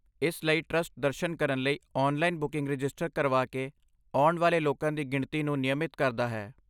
ਇਸ ਲਈ ਟਰਸਟ ਦਰਸ਼ਨ ਲਈ ਔਨਲਾਈਨ ਬੁਕਿੰਗ ਰਜਿਸਟਰ ਕਰਵਾ ਕੇ ਆਉਣ ਵਾਲੇ ਲੋਕਾਂ ਦੀ ਗਿਣਤੀ ਨੂੰ ਨਿਯਮਤ ਕਰਦਾ ਹੈ।